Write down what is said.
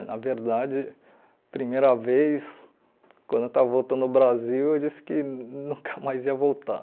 Na verdade, primeira vez, quando eu estava voltando ao Brasil, eu disse que nunca mais ia voltar.